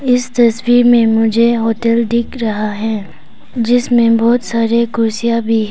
इस तस्वीर में मुझे होटल दिख रहा है जिसमें बहुत सारे कुर्सियां भी है।